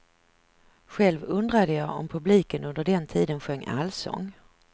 Själv undrade jag om publiken under den tiden sjöng allsång.